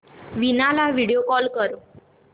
वीणा ला video call कर